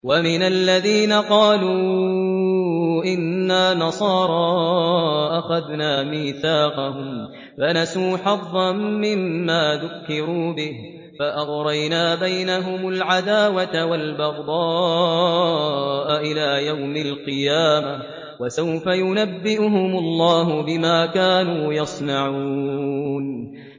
وَمِنَ الَّذِينَ قَالُوا إِنَّا نَصَارَىٰ أَخَذْنَا مِيثَاقَهُمْ فَنَسُوا حَظًّا مِّمَّا ذُكِّرُوا بِهِ فَأَغْرَيْنَا بَيْنَهُمُ الْعَدَاوَةَ وَالْبَغْضَاءَ إِلَىٰ يَوْمِ الْقِيَامَةِ ۚ وَسَوْفَ يُنَبِّئُهُمُ اللَّهُ بِمَا كَانُوا يَصْنَعُونَ